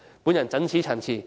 我謹此陳辭。